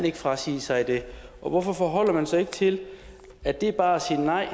ikke frasige sig det og hvorfor forholder man sig ikke til at dét bare